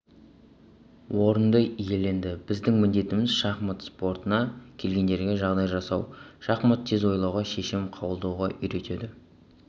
орынды иеленді біздің міндетіміз шахмат спортына келгендерге жағдай жасау шахмат тез ойлауға шешім қабылдауға үйретеді